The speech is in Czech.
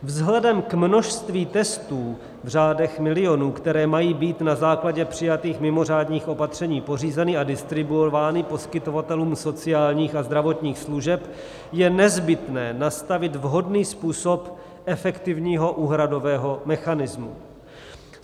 Vzhledem k množství testů v řádech milionů, které mají být na základě přijatých mimořádných opatření pořízeny a distribuovány poskytovatelům sociálních a zdravotních služeb, je nezbytné nastavit vhodný způsob efektivního úhradového mechanismu.